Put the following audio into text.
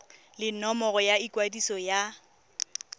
le nomoro ya ikwadiso ya